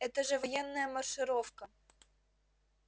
это же военная маршировка